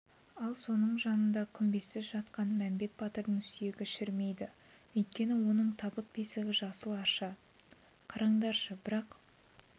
ал соның жанында күмбезсіз жатқан мәмбет батырдың сүйегі шірімейді өйткені оның табыт-бесігі жасыл арша қараңдашы бірақ